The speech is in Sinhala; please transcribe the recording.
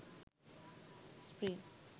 spring